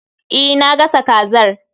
E, na gasa kazar